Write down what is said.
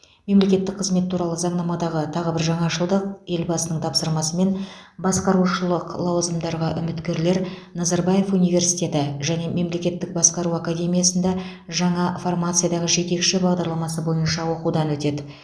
мемлекеттік қызмет туралы заңнамадағы тағы бір жаңашылдық елбасының тапсырмасымен басқарушылық лауазымдарға үміткерлер назарбаев университеті және мемлекеттік басқару академиясында жаңа формациядағы жетекші бағдарламасы бойынша оқудан өтеді